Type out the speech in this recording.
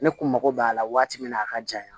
Ne kun mago b'a la waati min na a ka jan